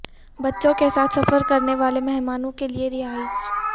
بچوں کے ساتھ سفر کرنے والے مہمانوں کے لئے رہائش